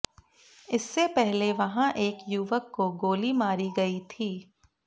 इससे पहले वहां एक युवक को गोली मारी गई थी